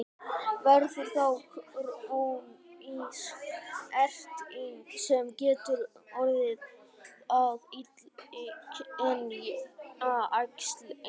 Verður þá krónísk erting sem getur orðið að illkynja æxli.